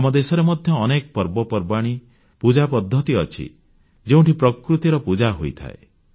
ଆମ ଦେଶରେ ମଧ୍ୟ ଅନେକ ପର୍ବପର୍ବାଣୀ ପୂଜା ପଦ୍ଧତି ଅଛି ଯେଉଁଠି ପ୍ରକୃତିର ପୂଜା ହୋଇଥାଏ